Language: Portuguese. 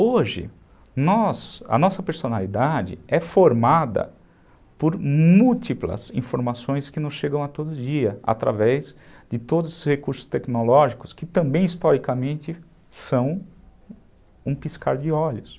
Hoje, nós, a nossa personalidade é formada por múltiplas informações que nos chegam a todo dia através de todos os recursos tecnológicos que também, historicamente, são um piscar de olhos.